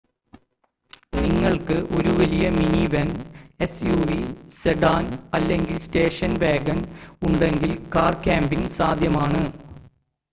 നിങ്ങൾക്ക് ഒരു വലിയ മിനിവാൻ എസ്‌യുവി സെഡാൻ അല്ലെങ്കിൽ സ്റ്റേഷൻ വാഗൺ ഉണ്ടെങ്കിൽ കാർ ക്യാമ്പിംഗ് സാധ്യമാണ്